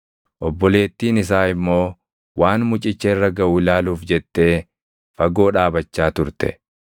Obboleettiin isaa immoo waan mucicha irra gaʼu ilaaluuf jettee fagoo dhaabachaa turte.